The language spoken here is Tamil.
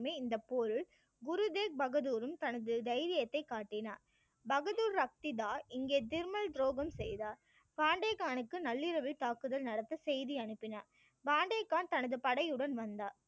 குரு தேக் பகதூரும் தனது தைரியத்தை காட்டினார் பகதூர் ரக்த் இதார் இங்கே துரோகம் செய்தார். காண்டே கானுக்கு நள்ளிரவில் தாக்குதல் நடத்த செய்தி அனுப்பினார் காண்டே கான் தனது படையுடன் வந்தார்